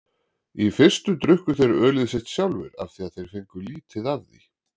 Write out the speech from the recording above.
Í fyrstu drukku þeir ölið sitt sjálfir af því þeir fengu lítið af því.